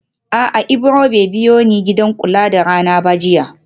A'a Ibro bai biyoni gidan kula da rana ba jiya